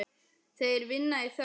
Þeir vinna í þögn.